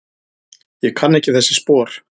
Ég kann ekki þessi spor.